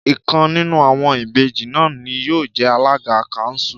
Ìkan nínú àwọn Ìbejì náà ni yóò jẹ alága káńsù